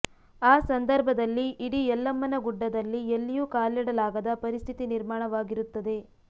ಆ ಸಂದರ್ಭದಲ್ಲಿ ಇಡೀ ಯಲ್ಲಮ್ಮನ ಗುಡ್ಡದಲ್ಲಿ ಎಲ್ಲಿಯೂ ಕಾಲಿಡಲಾಗದ ಪರಿಸ್ಥಿತಿ ನಿರ್ಮಾಣವಾಗಿರುತ್ತದೆ